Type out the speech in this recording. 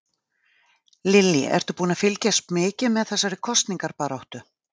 Lillý: Ertu búinn að fylgjast mikið með þessari kosningabaráttu?